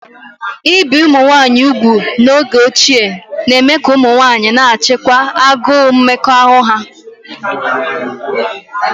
Íbi umunwaayị úgwù n'oge ochie na-eme ka ụmụ nwanyị na-achịkwa agụụ mmekọahụ ha